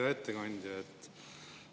Hea ettekandja!